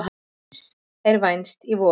Dóms er vænst í vor.